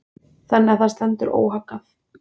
Þannig að það stendur óhaggað.